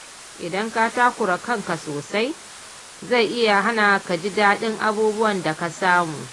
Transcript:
Idan ka takura kanka sosai, zai iya hana ka jin daɗin abubuwan da ka samu.